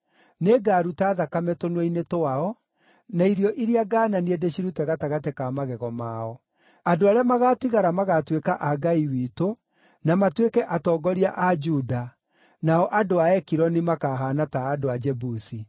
Nĩngaruta thakame tũnua-inĩ twao, na irio iria ngaananie ndĩcirute gatagatĩ ka magego mao. Andũ arĩa magaatigara magaatuĩka a Ngai witũ, na matuĩke atongoria a Juda, nao andũ a Ekironi makahaana ta andũ a Jebusi.